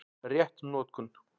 Rétt notkun